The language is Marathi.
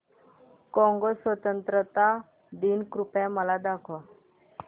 कॉंगो स्वतंत्रता दिन कृपया मला दाखवा